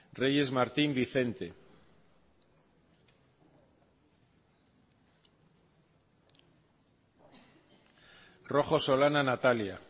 reyes martín vicente rojo solana natalia